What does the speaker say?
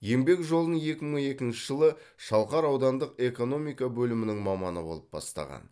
еңбек жолын екі мың екінші жылы шалқар аудандық экономика бөлімінің маманы болып бастаған